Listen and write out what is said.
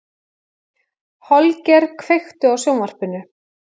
Holger, kveiktu á sjónvarpinu.